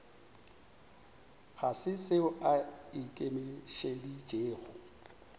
ga se seo a ikemišeditšego